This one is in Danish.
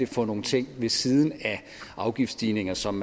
for nogle ting ved siden af afgiftsstigninger som